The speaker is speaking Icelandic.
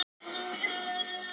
Það val vakti víða undrun.